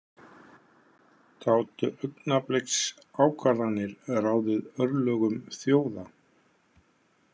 Gátu augnabliksákvarðanir ráðið örlögum þjóða?